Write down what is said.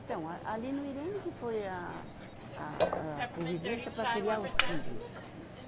Então, a, ali no Irene que foi a, a, a convivência para criar os filho.